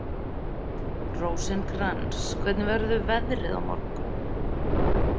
Rósinkrans, hvernig verður veðrið á morgun?